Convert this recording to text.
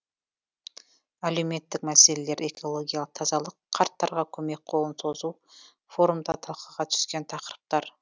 әлеуметтік мәселелер экологиялық тазалық қарттарға көмек қолын созу форумда талқыға түскен тақырыптар